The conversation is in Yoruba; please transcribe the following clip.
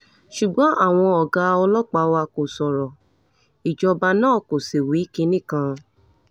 ṣùgbọ́n àwọn ọ̀gá ọlọ́pàá wa kò sọ̀rọ̀ ìjọba náà kó sì wí kinní kan